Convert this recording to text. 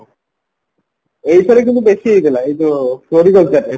ଏଇଥିରେ କିନ୍ତୁ ବେଶି ହେଇଥିଲା floricultureରେ